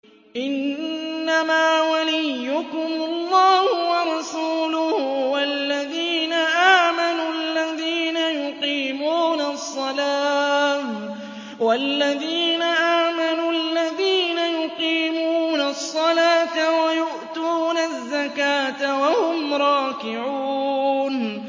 إِنَّمَا وَلِيُّكُمُ اللَّهُ وَرَسُولُهُ وَالَّذِينَ آمَنُوا الَّذِينَ يُقِيمُونَ الصَّلَاةَ وَيُؤْتُونَ الزَّكَاةَ وَهُمْ رَاكِعُونَ